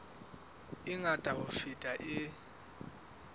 e ngata ho feta e